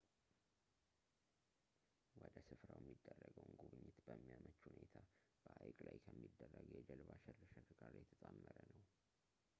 ወደ ስፍራው የሚደረገውን ጉብኝት በሚያመች ሁኔታ በሀይቅ ላይ ከሚደረግ የጀልባ ሽርሽር ጋር የተጣመረ ነው